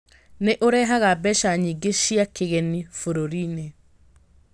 Nĩ ũrehaga mbeca nyingĩ cia kĩgeni bũrũri-inĩ.